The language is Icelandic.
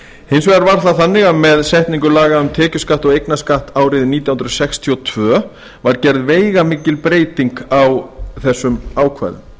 hins vegar var það þannig að með setningu laga um tekjuskatt og eignarskatt árið nítján hundruð sextíu og tvö var gerð veigamikil breyting á þessum ákvæðum